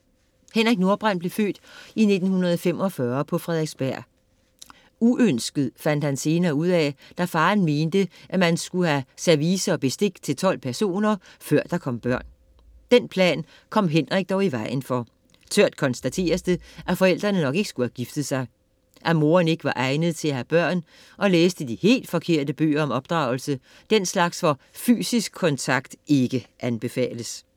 Henrik Nordbrandt blev født i 1945 på Frederiksberg. Uønsket fandt han senere ud af, da faderen mente, at man skulle have service og bestik til 12 personer, før der kom børn. Den plan kom Henrik dog i vejen for. Tørt konstateres det, at forældrene nok ikke skulle have giftet sig. At moderen ikke var egnet til at have børn og læste de helt forkerte bøger om opdragelse, den slags hvor fysisk kontakt ikke anbefales.